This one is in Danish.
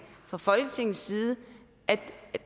fra folketingets side at